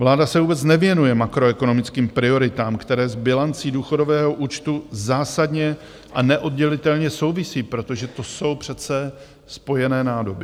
Vláda se vůbec nevěnuje makroekonomickým prioritám, které s bilancí důchodového účtu zásadně a neoddělitelně souvisí, protože to jsou přece spojené nádoby.